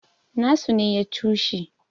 nasu ne ya cushe